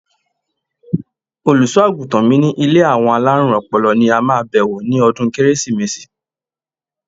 Olùṣọ́-àgùntàn mi ní ilé àwọn alárùn ọpọlọ ni a máa bewo ní ọdún Kérésìmesì.